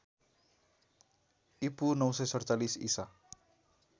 ईपू ९४७ ईसा